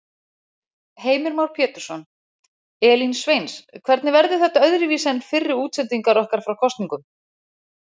Heimir Már Pétursson: Elín Sveins, hvernig verður þetta öðruvísi en fyrri útsendingar okkar frá kosningum?